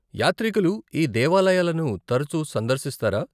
యాత్రికులు ఈ దేవాలయాలను తరుచు సందర్శిస్తారా?